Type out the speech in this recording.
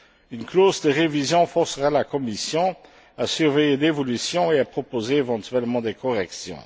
Une clause de révision forcera la Commission à surveiller l'évolution et à proposer éventuellement des corrections.